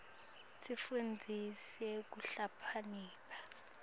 tsifundisa kuhlakanipha